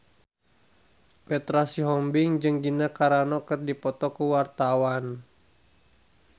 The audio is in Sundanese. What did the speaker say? Petra Sihombing jeung Gina Carano keur dipoto ku wartawan